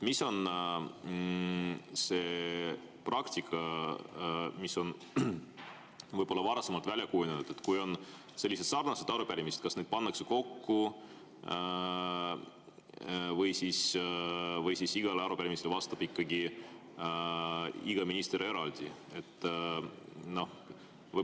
Mis on see praktika, mis on varasemalt välja kujunenud: kui on sellised sarnased arupärimised, kas need pannakse kokku või igale arupärimisele vastab ikkagi iga minister eraldi?